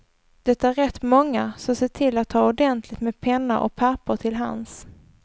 Det är rätt många, så se till att ha ordentligt med penna och papper till hands.